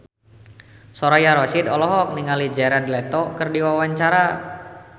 Soraya Rasyid olohok ningali Jared Leto keur diwawancara